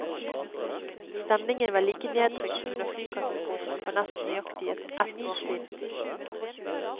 Stemningen var like nedtrykt som under flykatastrofen for nesten nøyaktig ett år siden.